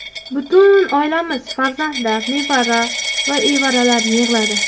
Butun oilamiz, farzandlar, nevara va evaralar yig‘iladi.